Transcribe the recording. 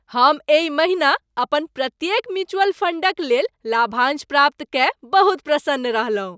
हम एहि महिना अपन प्रत्येक म्यूचुअल फंडक लेल लाभांश प्राप्त कय बहुत प्रसन्न रहलहुँ।